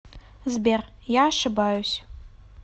сбер я ошибаюсь